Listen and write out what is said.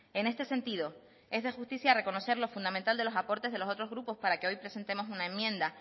en este sentido es de justicia reconocer lo fundamental de los aportes de los otros grupos para que hoy presentemos una enmienda